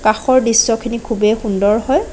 কাষৰ দৃশ্যখিনি খুবেই সুন্দৰ হয়।